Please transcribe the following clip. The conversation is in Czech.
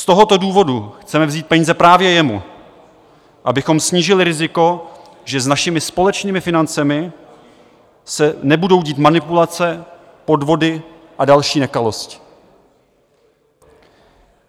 Z tohoto důvodu chceme vzít peníze právě jemu, abychom snížili riziko, že s našimi společnými financemi se budou dít manipulace, podvody a další nekalosti.